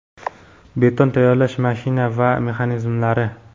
beton tayyorlash mashina va mexanizmlari.